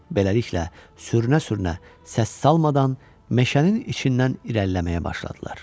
Beləliklə sürünə-sürünə, səs salmadan meşənin içindən irəliləməyə başladılar.